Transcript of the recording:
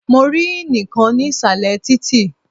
Mo rí ínì kan ní ìsàlẹ̀ títì.